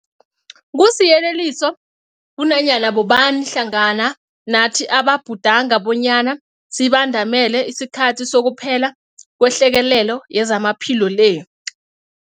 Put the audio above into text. Kusiyeleliso kunanyana bobani hlangana nathi ababhudanga bonyana sibandamele isikhathi sokuphela kwehlekelele yezamaphilo le.